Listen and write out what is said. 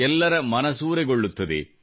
ಎಲ್ಲರ ಮನಸೂರೆಗೊಳ್ಳುತ್ತದೆ